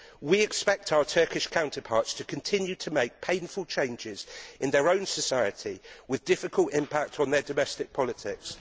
We expect our Turkish counterparts to continue to make painful changes in their own society with difficult impact on their domestic politics.